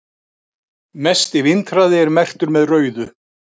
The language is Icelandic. mesti vindhraði er merktur með rauðu